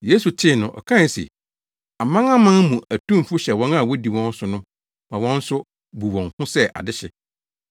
Yesu tee no, ɔkae se, “Amanaman mu atumfo hyɛ wɔn a wodi wɔn so no so ma wɔn nso bu wɔn ho sɛ Adehye.